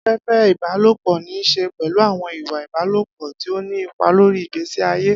Afẹ́fẹ́ ìbálòpọ̀ ní í ṣe pẹ̀lú àwọn ìwà ìbálòpọ̀ tí ó ní ipa lórí ìgbésí ayé.